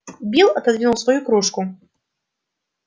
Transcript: билл отодвинул свою кружку